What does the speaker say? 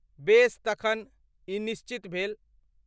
बेस तखन, ई निश्चित भेल।